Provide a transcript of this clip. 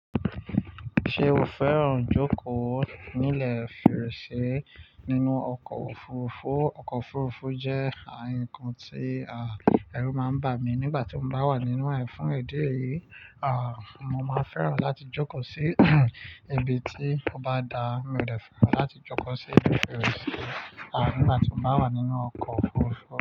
Ṣé o fẹ́ràn jókòó nílẹ̀ fèrèsé nínú ọkọ̀ òfurufú? Ọkọ̀ òfurufú jẹ́ nnkan tí, à, ẹrú máa ń bà mí nígbà tí mo bá wà nínú rẹ̀. Fún idi eyì, à, mo má n fẹ́ràn láti jókòó sí ibi tí ó bá da. Mi ò de fẹ́ràn láti jókòó sí ibi fèrèsé, à, nígbà tí mo bá wà nínú ọkọ̀ òfurufú.